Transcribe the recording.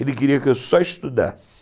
Ele queria que eu só estudasse.